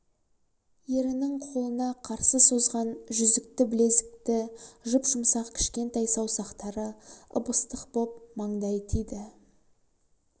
ерінің қолына қарсы созған жүзікті білезікті жұп-жұмсақ кішкентай саусақтары ып-ыстық боп майдай тиді